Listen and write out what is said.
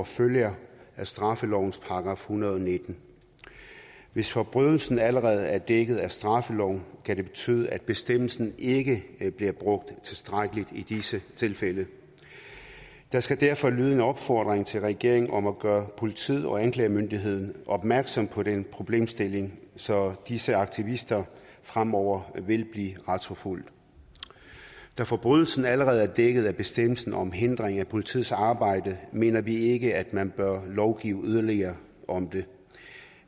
følger af straffelovens § en hundrede og nitten hvis forbrydelsen allerede er dækket af straffeloven kan det betyde at bestemmelsen ikke bliver brugt tilstrækkeligt i disse tilfælde der skal derfor lyde en opfordring til regeringen om at gøre politiet og anklagemyndigheden opmærksom på den problemstilling så disse aktivister fremover vil blive retsforfulgt da forbrydelsen allerede er dækket af bestemmelsen om hindring af politiets arbejde mener vi ikke at man bør lovgive yderligere om det